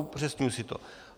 Upřesňuji si to.